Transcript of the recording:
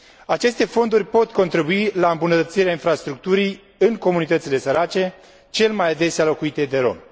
Aceste fonduri pot contribui la îmbunătățirea infrastructurii în comunitățile sărace, cel mai adesea locuite de romi.